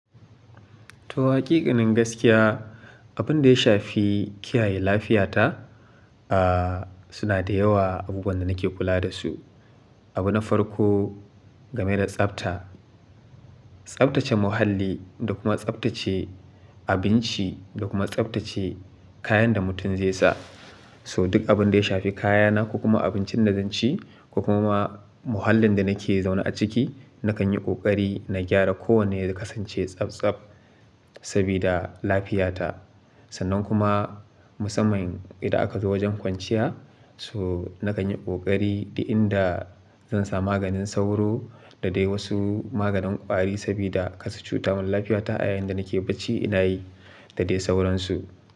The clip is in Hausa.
To haƙeƙanin gaskiya, abun da ya shafi kiyaye lafiyata, aah suna da yawa abubuwan da nake kula dasu. Abu na farko game da tsafta, tsaftace muhalli da kuma tsaftace abinci da kuma tsaftace kayan da mutum zai sa. So duk abun da ya shafi kayana ko kuma abincin da zan ci ko kuma muhallin da nake zaune a ciki, nakan yi ƙoƙari na gyara kowane ya kasance tsaftsaf sabida lafiyata. Sannan kuma musamman idan aka zo wajen kwanciya, so nakan yi ƙoƙari da inda zan sa maganin sauro da dai wasu maganin ƙwari sabida kasu cuta man lafiyata a yayin da nake bacci ina yi da dai sauransu.